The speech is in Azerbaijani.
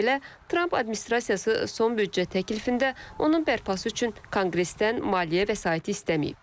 Bununla belə, Tramp administrasiyası son büdcə təklifində onun bərpası üçün konqresdən maliyyə vəsaiti istəməyib.